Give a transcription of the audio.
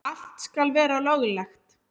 Allt skal vera löglegt.